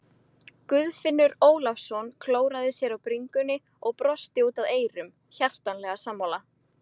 Guðfinnur Ólafsson klóraði sér á bringunni og brosti út að eyrum, hjartanlega sammála.